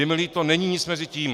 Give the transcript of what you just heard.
Je mi líto, není nic mezi tím.